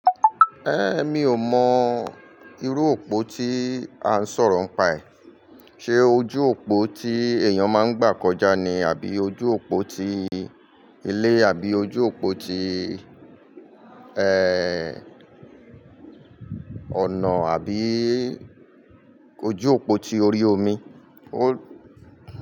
Ẹ́, mi ò mọ irú òpó tí a ń sọ̀rọ̀ ń pa ẹ̀. Ṣé ojú òpó tí èèyàn máa ń gbà kọjá ni àbí ojú òpó ti ilé àbí ojú òpó ti, ẹ, ọ̀nà àbí ojú òpó ti orí omi? Ó.